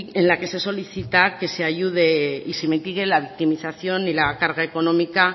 en la que se solicita que se ayude y se mitigue la victimización y la carga económica